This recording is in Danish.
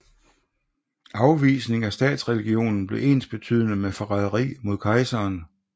Afvisning af statsreligionen blev ensbetydende med forræderi mod kejseren